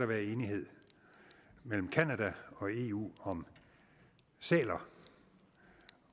være enighed mellem canada og eu om sæler